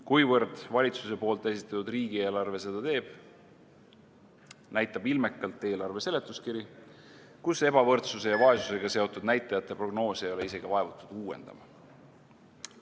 Kuivõrd valitsuse esitatud riigieelarve seda teeb, näitab ilmekalt eelarve seletuskiri, kus ebavõrdsuse ja vaesusega seotud näitajate prognoose ei ole isegi vaevutud uuendama.